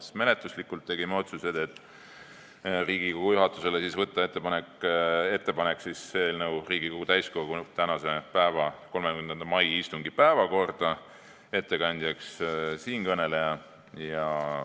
Tegime menetlusliku otsuse teha Riigikogu juhatusele ettepaneku saata eelnõu tänaseks, 30. maiks Riigikogu täiskogu istungi päevakorda, ettekandjaks määrasime siinkõneleja.